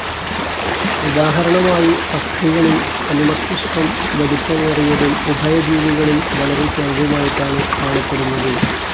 ഉദാഹരണമായി പക്ഷികളിൽ അനുമസ്തിഷ്കം വലിപ്പമേറിയതും ഉഭയജീവികളിൽ വളരെ ചെറുതുമായിട്ടാണ് കാണപ്പെടുന്നത്.